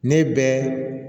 Ne bɛ